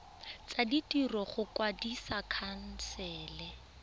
tsa ditiro go kwadisa khansele